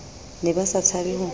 ne ba sa tshabe ho